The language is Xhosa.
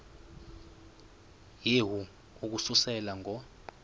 yehu ukususela ngo